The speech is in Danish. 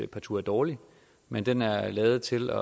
partout er dårlig men den er lavet til